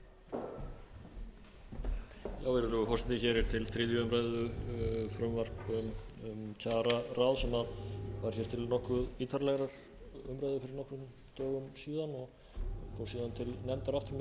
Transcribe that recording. dögum síðan og síðan til nefndar aftur milli annars og þriðju umræðu í framhaldi af umræðum hér og óskum einstakra þingmanna